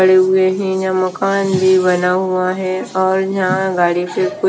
बड़े हुए हैं यहाँ मकान भी बना हुआ है और यहाँ गाड़ी पे कोई --